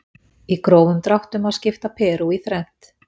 Í grófum dráttum má skipta Perú í þrennt.